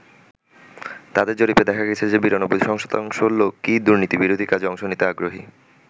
তাদের জরিপে দেখা গেছে যে ৯২ শতাংশ লোকই দুর্নীতিবিরোধী কাজে অংশ নিতে আগ্রহী।